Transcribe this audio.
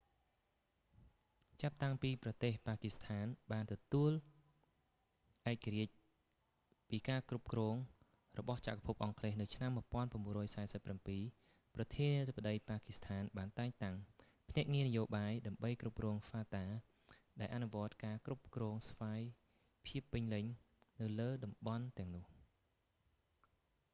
ចាប់តាំងពីប្រទេស ប៉ាគីស្ថាន ទទួលបានឯករាជ្យពីការគ្រប់គ្រងរបស់ចក្រភពអង់គ្លេសនៅឆ្នាំ 1947 ប្រធានាធិបតី ប៉ាគីស្ថានបានតែងតាំង ភ្នាក់ងារនយោបាយ ដើម្បីគ្រប់គ្រង fata ដែលអនុវត្តការគ្រប់គ្រងស្វ័យភាពពេញលេញនៅលើតំបន់ទាំងនោះ